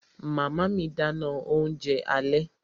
Màmá mi dáná oúnjẹ alẹ́